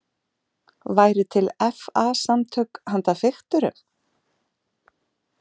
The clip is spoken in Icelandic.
Væru til FA- samtök handa fikturum?